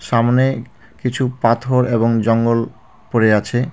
সামনে কিছু পাথর এবং জঙ্গল পড়ে আছে।